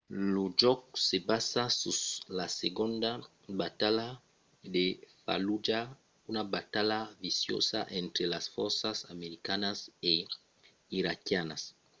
lo jòc se basa sus la segonda batalha de fallujah una batalha viciosa entre las fòrças americanas e iraquianas